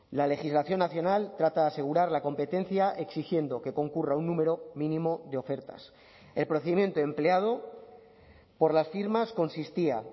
la legislación nacional trata de asegurar la competencia exigiendo que concurra un número mínimo de ofertas el procedimiento empleado por las firmas consistía